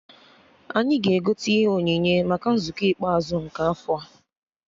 Anyị ga-egote ihe onyinye maka nzukọ ikpeazụ nke afọ a